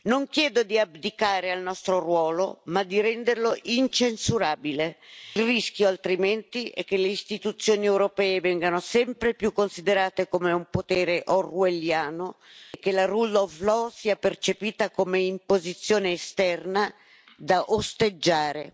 Non chiedo di abdicare al nostro ruolo, ma di renderlo incensurabile. Il rischio, altrimenti, è che le istituzioni europee vengano sempre più considerate un potere orwelliano e che lo Stato di diritto sia percepito come imposizione esterna da osteggiare.